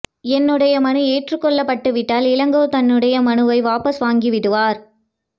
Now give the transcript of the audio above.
என்னுடைய மனு ஏற்றுக் கொள்ளப்பட்டுவிட்டால் இளங்கோ தன்னுடைய மனுவை வாபஸ் வாங்கிவிடுவார்